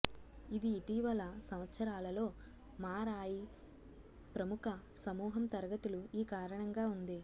ఇది ఇటీవల సంవత్సరాలలో మారాయి ప్రముఖ సమూహం తరగతులు ఈ కారణంగా ఉంది